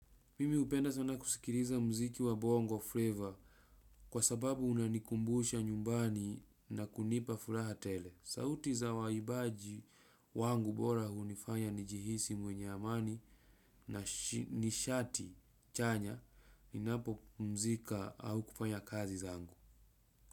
Mimi hupenda sana kusikiriza mziki wa bongo flavor kwa sababu unanikumbusha nyumbani na kunipa furaha tele. Sauti za waibaji wangu bora hunifanya nijihisi mwenye amani na nishati chanya ninapo pumzika au kufanya kazi zangu.